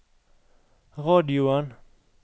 radioen